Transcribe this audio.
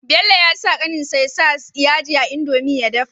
Bello yasa kanin sa ya sa yaji a indomie da ya dafa